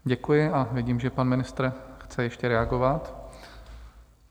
Děkuji a vidím, že pan ministr chce ještě reagovat.